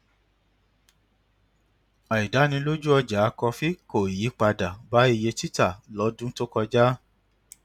àìdánilójú ọjà kọfí kó ìyípadà bá iye tita lódún tó kọjá